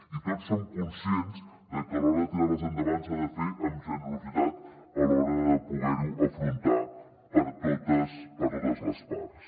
i tots som conscients de que a l’hora de tirar les endavant s’ha de fer amb generositat a l’hora de poder ho afrontar per totes les parts